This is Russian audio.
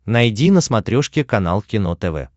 найди на смотрешке канал кино тв